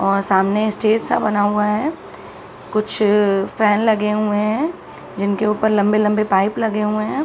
और सामने स्टेज सा बना हुआ है | कुछ फैन लगे हुआ हैं जिनके उपर लम्बे-लम्बे पाइप लगे हुए हैं |